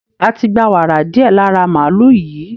A ti gba wàrà díẹ̀ lára màálù yìí